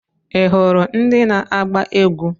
Ị hụrụ ndị na-agba egwu?